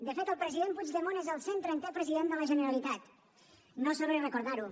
de fet el president puigdemont és el cent trentè president de la generalitat no és sobrer recordar ho